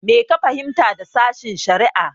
Me ka fahimta da sashen-shari'a?